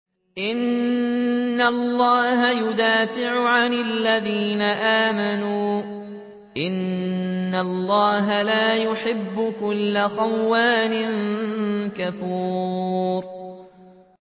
۞ إِنَّ اللَّهَ يُدَافِعُ عَنِ الَّذِينَ آمَنُوا ۗ إِنَّ اللَّهَ لَا يُحِبُّ كُلَّ خَوَّانٍ كَفُورٍ